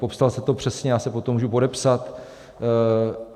Popsal jste to přesně, já se pod to můžu podepsat.